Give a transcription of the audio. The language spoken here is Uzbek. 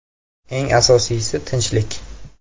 Eng asosiysi tinchlik.